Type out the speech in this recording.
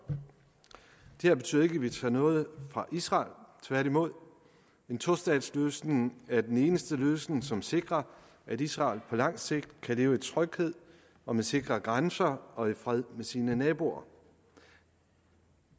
det her betyder ikke at vi tager noget fra israel tværtimod en tostatsløsning er den eneste løsning som sikrer at israel på lang sigt kan leve i tryghed og med sikre grænser og i fred med sine naboer